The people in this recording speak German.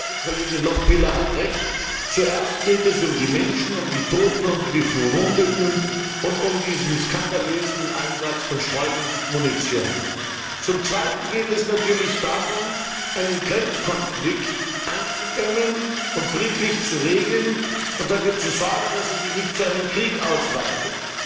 In der Tat, die Kollegin Lochbihler hat Recht Zuerst geht es um die Menschen, um die Toten und die Verwundeten, und um diesen skandalösen Einsatz von Streumunition. Zum Zweiten geht es natürlich darum, einen Grenzkonflikt einzudämmen und friedlich zu regeln und dafür zu sorgen, dass er sich nicht zu einem Krieg ausweitet.